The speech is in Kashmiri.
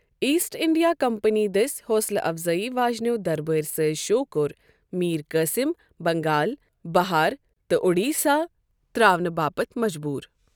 ایسٹ انڈیا کمپنی دٔسۍ حوصلٕہ افزٲیی واجنیو دربٲرۍ سٲزۍ شو٘ كوٛر میر قاُسم بنگال، بہار تہٕ اوڈیسا تر٘اونہٕ باپتھ مجبوُر ۔